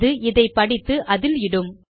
அது இதை படித்து அதில் இடும்